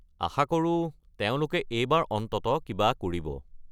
আশা কৰো তেওঁলোকে এইবাৰ অন্ততঃ কিবা কৰিব।